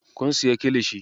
Kun siya kilishi?